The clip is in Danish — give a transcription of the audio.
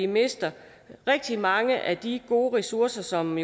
mister rigtig mange af de gode ressourcer som